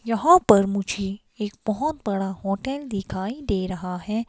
यहां पर मुझे एक बोहोत बड़ा होटल दिखाई दे रहा है।